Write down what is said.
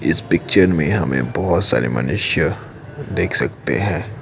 इस पिक्चर में हमें बहुत सारे मनुष्य देख सकते हैं।